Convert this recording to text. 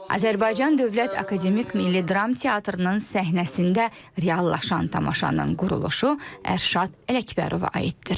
Azərbaycan Dövlət Akademik Milli Dram Teatrının səhnəsində reallaşan tamaşanın quruluşu Ərşad Ələkbərova aiddir.